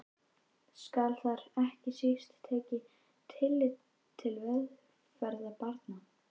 Skal þar ekki síst tekið tillit til velferðar barna.